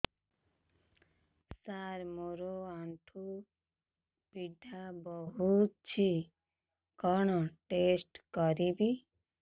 ସାର ମୋର ଆଣ୍ଠୁ ପୀଡା ହଉଚି କଣ ଟେଷ୍ଟ କରିବି